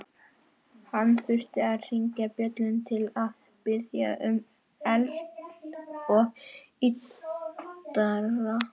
Hann þurfti að hringja bjöllu til að biðja um eld og yddara.